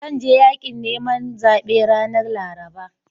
Zan je yaƙin neman zaɓe ranar Laraba.